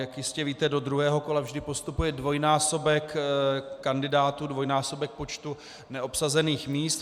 Jak jistě víte, do druhého kola vždy postupuje dvojnásobek kandidátů, dvojnásobek počtu neobsazených míst.